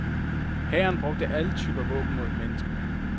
Hæren brugte alle typer våben mod menneskemængden.